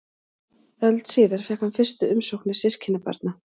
Öld síðar fékk hann fyrstu umsóknir systkinabarna.